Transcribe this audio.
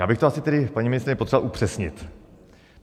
Já bych to asi tedy, paní ministryně, potřeboval upřesnit.